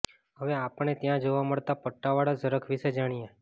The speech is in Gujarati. હવે આપણે આપણે ત્યાં જોવા મળતા પટ્ટાવાળા ઝરખ વિષે જાણીએ